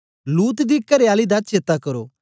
लूत दी करेआली दा चेता करो